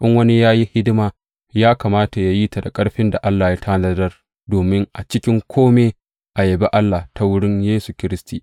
In wani yana yin hidima, ya kamata yă yi ta da ƙarfin da Allah ya tanadar, domin a cikin kome a yabi Allah ta wurin Yesu Kiristi.